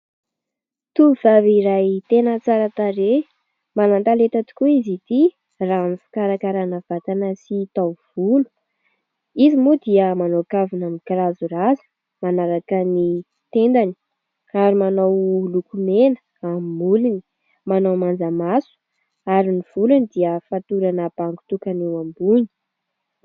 Tovovavy iray tena tsara tarehy tena manan-talenta tokoa izy ity raha amin'ny fikarakarana vatana sy taovolo. Izy moa dia manao kavina mikirazorazo manaraka ny tendany ary manao lokomena ny molony, manao manjamaso ary ny volony dia fatorana bango tokana eo ambony.